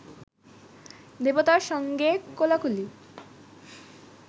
দেবতার সঙ্গে কোলাকুলি